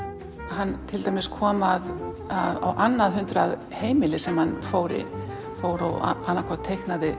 hann til dæmis kom að annað hundruð heimilum sem hann fór fór og annað hvort teiknaði